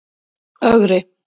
Ögri